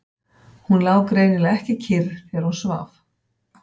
Hún lá greinilega ekki kyrr þegar hún svaf.